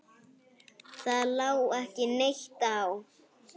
Það lá ekki neitt á.